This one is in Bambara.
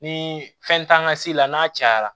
Ni fɛn t'an ka se la n'a cayara